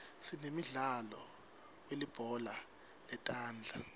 sinemidlalo welibhola letandla